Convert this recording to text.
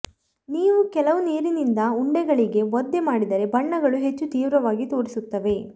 ನೀವು ಕೆಲವು ನೀರಿನಿಂದ ಉಂಡೆಗಳಿಗೆ ಒದ್ದೆ ಮಾಡಿದರೆ ಬಣ್ಣಗಳು ಹೆಚ್ಚು ತೀವ್ರವಾಗಿ ತೋರಿಸುತ್ತವೆ